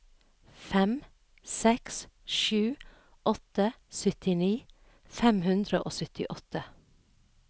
fem seks sju åtte syttini fem hundre og syttiåtte